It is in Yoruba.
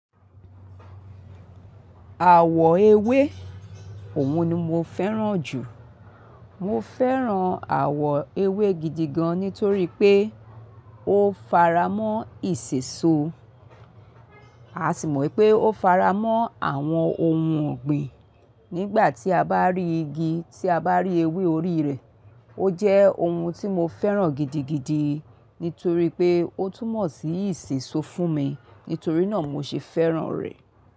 Àwọ̀ ewé, òun ni mo fẹ́ràn jù. Mo fẹ́ràn àwọ̀ ewé gidigan nítorí pé ó faramọ́ ìṣeso. A sì mọ̀ wípé ó faramọ́ àwọn ohun ọ̀gbìn. Nígbà tí a bá rí igi, tí a bá rí ewé orí rẹ̀, ó jẹ́ ohun tí mo fẹ́ràn gidigidi nítorí pé ó túmọ̀ sí ìṣeso fún mi. Nítorí náà mo ṣe fẹ́ràn rẹ̀.